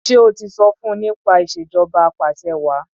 Ṣé o ti sọ fun nípa ìṣèjọba apàṣẹwàá?